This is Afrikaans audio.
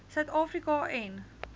suid afrika en